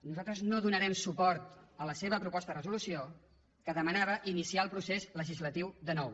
nosaltres no donarem suport a la seva proposta de resolució que demanava iniciar el procés legislatiu de nou